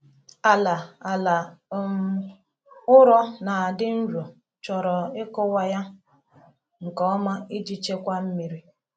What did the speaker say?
Ala Ala um ụrọ na-adị nro chọrọ ịkụwa ya nke ọma iji chekwaa mmiri.